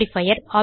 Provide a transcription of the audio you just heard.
modifier